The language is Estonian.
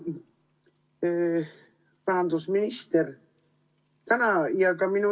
Hea rahandusminister!